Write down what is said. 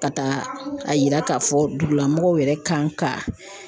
Ka taa a yira k"a fɔ dugulamɔgɔw yɛrɛ kan ka